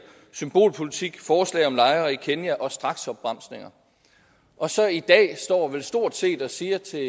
symbolpolitik forslag om lejre i kenya og straksopbremsninger og så i dag står vel stort set og siger til